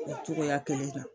O cogoya kelen don